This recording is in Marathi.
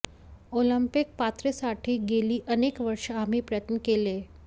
ऑलिंपिक पात्रतेसाठी गेली अनेक वर्षे आम्ही प्रयत्न केले